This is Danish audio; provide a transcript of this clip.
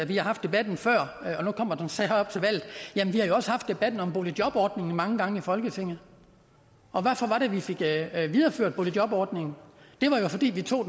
vi har haft debatten før og nu kommer den så igen her op til valget jamen vi har jo også haft debatten om boligjobordningen mange gange i folketinget og hvorfor var det vi fik videreført boligjobordningen det var jo fordi vi tog